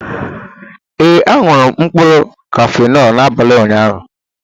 Ee, añụrụ m mkpụrụ Kafenọ n'abalị ụnyaahụ